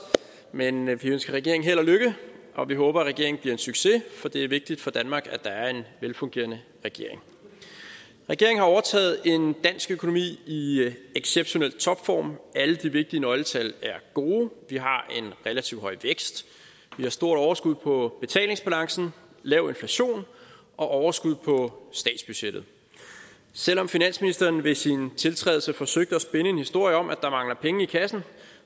men men vi ønsker regeringen held og lykke og vi håber at regeringen bliver en succes for det er vigtigt for danmark at der er en velfungerende regering regeringen har overtaget en dansk økonomi i exceptionel topform alle de vigtige nøgletal er gode vi har en relativt høj vækst vi har stort overskud på betalingsbalancen lav inflation og overskud på statsbudgettet selv om finansministeren ved sin tiltrædelse forsøgte at spinne en historie om at der mangler penge i kassen